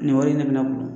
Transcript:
Nin wari in ne bɛ ne bolo